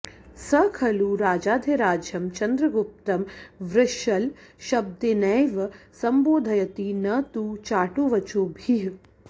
स खलु राजाधिराजं चन्द्रगुप्तं वृषलशब्देनैव सम्बोधयति न तु चाटुवचोभिः